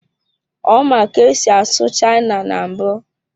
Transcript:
Ọ ma ka esi asụ China na mbụ.